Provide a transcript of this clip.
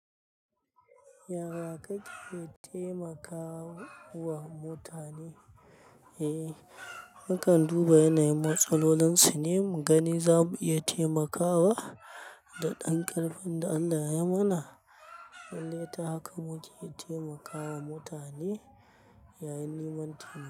Yara kake taimakawa mutane? Eh, mukan duba yanayin matsalolinsu ne mu gani za mu iya taimakawa da ɗan ƙarfin da Allah ya mana. Lalle ta haka muke taimakawa mutane yayin neman ti.